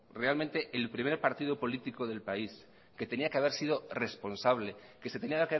realmente el primer partido político del país que tenía que haber sido responsable que se tenía